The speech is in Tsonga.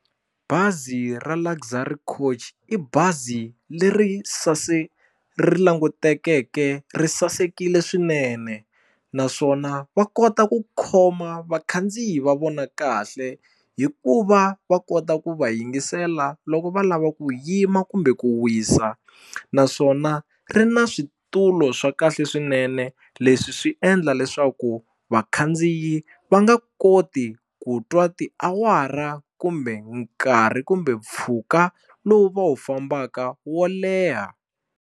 Bazi ra Luxury Coach i bazi leri ri langutekeke ri sasekile swinene naswona va kota ku khoma vakhandziyi va vona kahle hi ku va va kota ku va yingisela loko va lava ku yima kumbe ku wisa naswona ri na switulu swa kahle swinene leswi swi endla leswaku vakhandziyi va nga koti ku twa tiawara kumbe nkarhi kumbe mpfhuka lowu va wu fambaka wo leha.